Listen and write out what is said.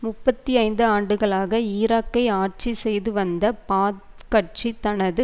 முப்பத்தி ஐந்து ஆண்டுகளாக ஈராக்கை ஆட்சி செய்துவந்த பாத் கட்சி தனது